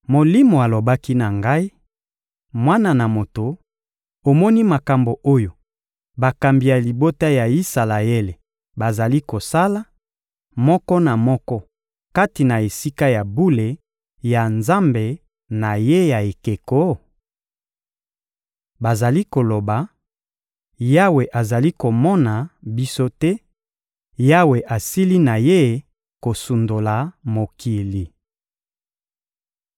Molimo alobaki na ngai: «Mwana na moto, omoni makambo oyo bakambi ya libota ya Isalaele bazali kosala, moko na moko kati na esika ya bule ya nzambe na ye ya ekeko? Bazali koloba: ‹Yawe azali komona biso te, Yawe asili na Ye kosundola mokili!›»